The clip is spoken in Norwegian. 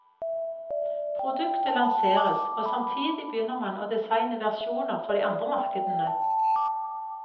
Produktet lanseres og samtidig begynner man å designe versjoner for de andre markedene.